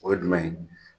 O ye jumɛn ye